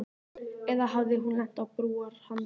Eða hafði hún lent á brúarhandriði.